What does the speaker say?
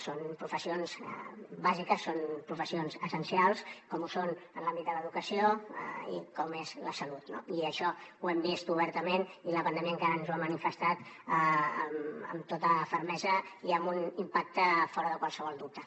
són professions bàsiques són professions essencials com ho són l’àmbit de l’educació i com és la salut no i això ho hem vist obertament i la pandèmia encara ens ho ha manifestat amb tota fermesa i amb un impacte fora de qualsevol dubte